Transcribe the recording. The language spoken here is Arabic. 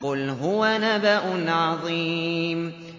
قُلْ هُوَ نَبَأٌ عَظِيمٌ